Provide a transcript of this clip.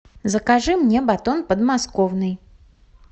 закажи мне батон подмосковный